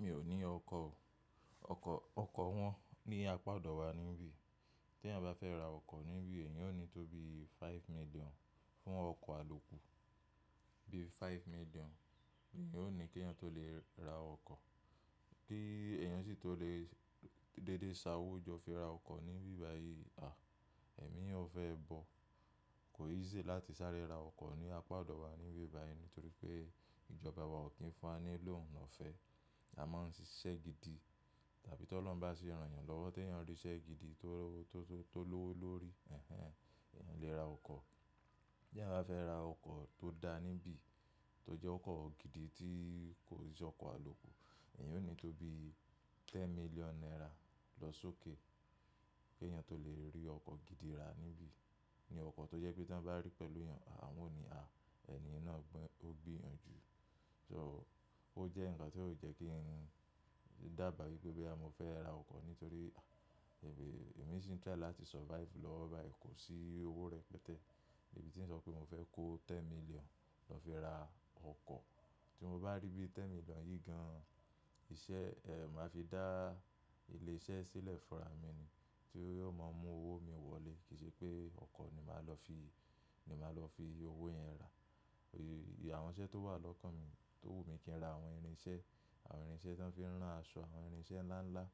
Mi ò ní ọkọ̀ o. Ọkọ̀, ọkọ̀ wọ́n ní apá ọdọ wa níbí. Tí èèyàn bá fẹ́ ra ọkọ̀ níbí, èèyàn ó ní tó bí five million fún ọkọ̀ àlòkù. Bí five million, èèyàn ó ní kí èèyàn tó lè ra ọkọ̀. Kí èèyàn sì tó lè dédé ṣàwójọ fi ra ọkọ̀ níbí báyìí à, èmi ò fẹ́ bọ̀. Kò easy láti sáré ra ọkọ̀ ní apá ọdọ wa níbí báyìí nítorí pé ìjọba wa ò kí ń fún wa ni loan ọfẹ. A máa ń ṣiṣẹ́ gidi tàbí t'Ọlọhun ba sí ràn'yàn lọ́wọ́ tí eeyan rí iṣẹ́ gidi tó, tó, tó lówó lórí, ẹ́hẹ́n, eeyan lè ra ọkọ̀. Tí èèyàn bá fẹ́ ra ọkọ̀ tó dára níbí, tó jẹ́ ọkọ̀ gidi tí kò i ṣe ọkọ̀ àlòkù, èèyàn ó ní tó bí ten million naira lọ s'ókè kí èèyàn tó lè rí ọkọ̀ gidi ra níbí. Ni ọkọ̀ tó jẹ́ pé tí wọ́n bá rí pẹ̀lú èèyàn, wọn ò ní, à, ẹni yẹn náà gbọ́n, ó gbìyànjú. So ó jẹ́ ǹkan tí ó jẹ́ kí n dàba wípé boya mo fẹ́ ra ọkọ̀ nítorí à, èmi sì ń try láti survive lọ́wọ́ báyìí, kò sí owó rẹpẹtẹ. Èmi tí ń sọ pé mo fẹ́ kó ten million lọ fi ra ọkọ̀. Tí mo bá rí bí ten million yìí gan iṣẹ́, eh, màá fi dá ilé iṣẹ́ sílẹ̀ fúnra mi ni tí yóò máa mú owó mi wọlé. Kì í ṣe pé ọkọ̀ ni màá lọ fi, ni màá lọ fi owó yẹn rà. Àwọn iṣẹ́ tó wà lọ́kàn mi, tó wù mí kí n ra àwọn irinṣẹ́, àwọn irinṣẹ́ tí wọ́n fi ń rán aṣọ, àwọn irinṣẹ́ ńlá ńlá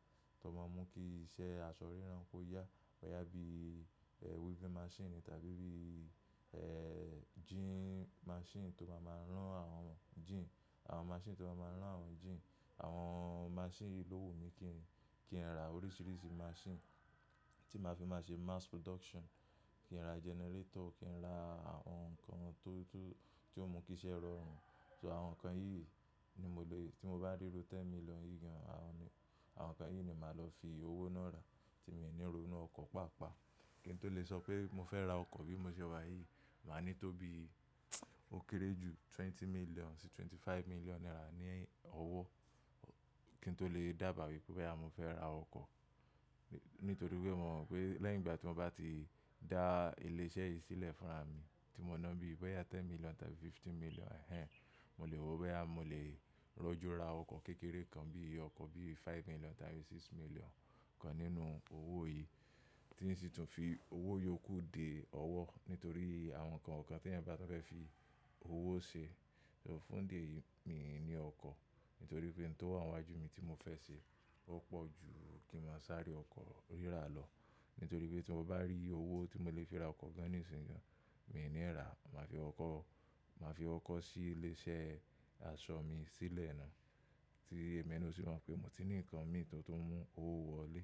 tó máa ń mú kí iṣẹ́ aṣọ rírán kó yá. Boya bí, eh, weaving machine tàbí bí, eh, jean machine tó máa ma rán àwọn jean, àwọn machine tó máa ma rán àwọn jean. Àwọn machine yìí lówù mí kí n, kí n ra oríṣiríṣi machine tí màá fi máa ṣe mass production. Kí n ra generator, kí n ra àwọn nǹkan tó, tó, tí ó mú kí iṣẹ́ rọrùn. So àwọn nǹkan yìí ni mo lè-- tí mo bá rí ru ten million yìí gan, àwọn, àwọn nǹkan yìí ni màá lọ fi owó náà rà tí mi ò ní ronú ọkọ̀ paapaa. Kí n tó lè sọ pé mo fẹ́ ra ọkọ̀ bí mo ṣe wà yìí, màá ní tó bí ó kéré ju twenty million sí twenty five million naira ni ọwọ́ kí n tó lè dàba wípé boya mo fẹ́ ra ọkọ̀. Nítorí pé mo mọ̀ pé lẹ́yìn ìgbà tí mo bá ti dá ilé iṣẹ́ yìí sílẹ̀ fúnra mi tí mo ná bí i bẹ́yà ten million tàbí fifteen million, ẹ́hẹ́n, mo lè wò pé à mo lè rọju ra ọkọ̀ kékeré kan bí i ọkọ̀ bí i five million tàbí six million kan nínú owó yìí. Kí n sí tún fi owó yòókù dé ọwọ́ nítorí àwọn nǹkan kan tí èèyàn bá fẹ́ fi owó ṣe. So fún idi eyìí, mi ò ní ọkọ̀ nítorí pé n tó wá níwájú mi tí mo fẹ́ ṣe ó pọ̀ ju kí n màá sáré ọkọ̀ rírà lọ. Nítorí pé tí mo bá rí owó tí mo lè fi ra ọkọ̀ gan ní ìsìnyi gan, mi ò ní rà, màá fi kọ́kọ́, màá fi kọ́kọ́ ṣí ilé iṣẹ́ aṣọ mi sílẹ̀ náà tí èmi na o sì mọ pe mo ti ní nǹkan mi tó, tó oun mú owó wọlé.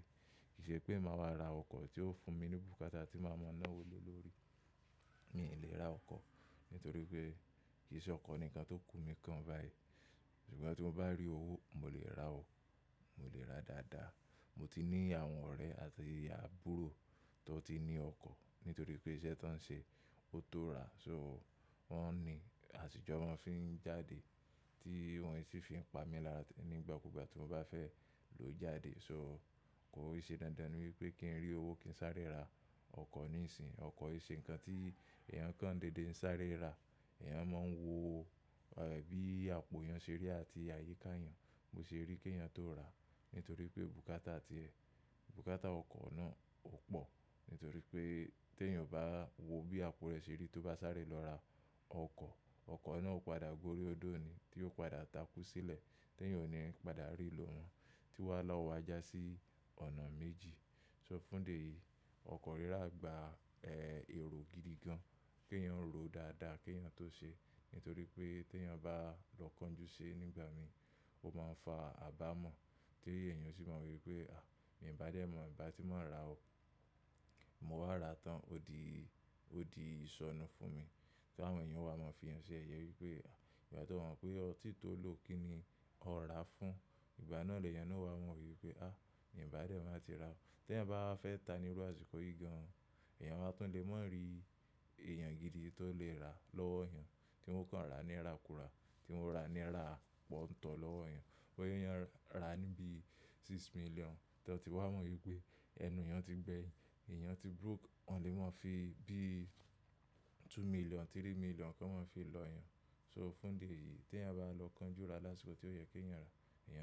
Kì í ṣe pé màá wá ra ọkọ̀ tí ó fún mi ní bùkátà tí màá mọ náà owo le l'orí. Mi ò lè ra ọkọ̀ nítorí pé kì í ṣe ọkọ̀ ni nǹkan to kù mi kan báyìí. Ṣùgbọ́n tí mo bá rí owó, mo lè ra o, mo lè ra dáadáa. Mo ti ní àwọn ọ̀rẹ́ àti àbúrò tó ti ní ọkọ̀ nítorí pé iṣẹ́ tó ń ṣe ó tó ra. So wọ́n ni, asi jọ n fi ń jáde tí wọ́n sì fi ń pa mí lára nígbà kúgbà tí mo bá fẹ́ lò jáde. So kò i ṣe dandan ni wípé kí n rí owó kí n sáré ra ọkọ̀ níìsín. Ọkọ̀ yí ṣe ǹkan tí èèyàn kan dédé ń sáré ra. Èèyàn máa ń wo, eh, bí àpò èèyàn ṣe rí àti àyíká èèyàn. Mo ṣe rí kí ẹ̀yin tó rà nítorí pé bùkátà tí ẹ, bùkátà ọkọ̀ náà ò pọ̀ nítorí pé tí èèyàn o bá wo bí àpò rẹ̀ ṣe rí tó bá sáré lọ ra ọkọ̀, ọkọ̀ náà ó padà g'ori odó ni tí ó padà takú sílẹ̀ tí èèyàn ò ní padà rí lò mọ tí wàhálà o wa já sí ọ̀nà méjì. So fún dè yìí, ọkọ̀ rírà gba, eh, èrò gidi gan. Kí èèyàn ó ròó dáadáa kí èèyàn o tó ṣe nítorí pé tí èèyàn bá lọ kan jú ṣe nígbà mí, ó máa ń fa àbámọ̀ tí èèyàn sì máa wí pé, à, mi ò bá dẹ mọ̀ ìbá tí mọ ra o, mo wá ra tán. Ó di, ó di ìṣọnú fún mi. Tí àwọn èèyàn wà máa fi èèyàn ṣe yẹyẹ wípé à, ìgbà tí ọ mọ̀ pé o ti tó ló kí ni ó rà á fún, ìgbà náà lè èèyàn náà wá mọ̀ wípé, à, mi ò bá dé mọ̀ tí ra o. Tí èèyàn bá fẹ́ ta ní iru àsìkò yìí gan, èèyàn wa tún lè mọ̀ rí èèyàn gidi tó lè rà á lọ́wọ́ eeyan tí wọn o kàn rà ní ira kù rà, tí wọn o rà ní ira pọ̀ńtọ̀ lọ́wọ́ èèyàn. Wọn yóò yan ra níbí six million tí wọn t'an ti wá mọ̀ wípé ẹnu èèyàn ti gbẹ. Èèyàn ti broke, wọ́n lè máa fi bíi two million, three million kan máa fi lọ èèyàn. So fún idi eyi, tí èèyàn bá lọ kan jú ra lásìkò tí ó yẹ kí èèyàn rà, èèyàn á.